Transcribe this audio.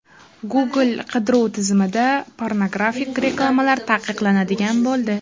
Google qidiruv tizimida pornografik reklamalar taqiqlanadigan bo‘ldi.